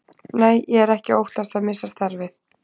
Nei, ég er ekki að óttast að missa starfið.